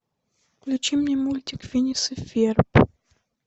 включи мне мультик финес и ферб